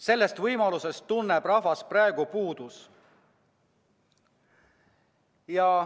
Sellest võimalusest tunneb rahvas praegu puudust.